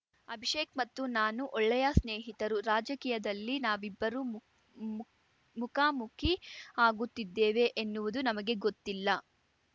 ಅಭಿಷೇಕ್‌ ಮತ್ತು ನಾನು ಒಳ್ಳೆಯ ಸ್ನೇಹಿತರು ರಾಜಕೀಯದಲ್ಲಿ ನಾವಿಬ್ಬರು ಮುಖ್ ಮುಖ್ ಮುಖಾ ಮುಖಿ ಆಗುತ್ತಿದ್ದೇವೆ ಎನ್ನುವುದು ನಮಗೆ ಗೊತ್ತಿಲ್ಲ